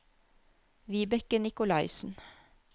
Vibeke Nikolaisen